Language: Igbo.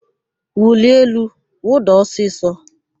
Wulie elu, wụda ọsịsọ!